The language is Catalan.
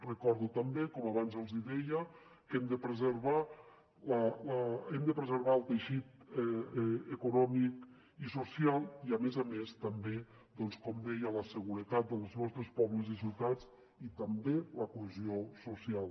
recordo també com abans els deia que hem de preservar el teixit econòmic i social i a més a més també doncs com deia la seguretat dels nostres pobles i ciutats i també la cohesió social